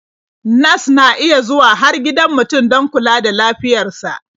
Nas na iya zuwa har gidan mutum don kula da lafiyar sa.